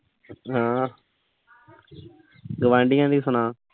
ਸੁਣਾ ਗੁਆਂਢੀਆਂ ਦੀ ਸੁਣਾ।